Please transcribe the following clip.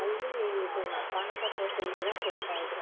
ಅಲ್ಲಿ ಇದು ಪಾನಕ ಕೋಸಂಬರಿ ಎಲ್ಲಾ ಕೊಡ್ತಾ ಇದ್ರೂ